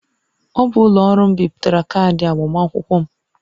Ọ bụ ụlọ ọrụ m bipụtara kaadị agbamakwụkwọ m